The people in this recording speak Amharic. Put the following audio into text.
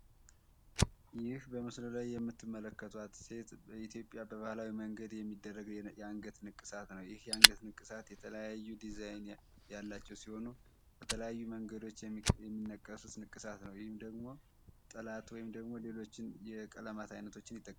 ይ በምስሉ ላይ የምትመለከቷት ሴት በ ኢትዮጵያ ቤ ናህላዊ መንግርድ የሚደረግ የ አንገት ንቅሳት ነኤ ይህ የአንገይ ንቅሳት yet3leyayu ዲዛይን ያላቸው ሲሆኑ በተለያዩ መንገድች የምነቀሱይ ንቅሳት ነው ይህም ጥለት ሌሎችን የቀለማት አይነቶችን ይጠቀማሉ